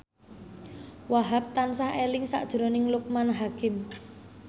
Wahhab tansah eling sakjroning Loekman Hakim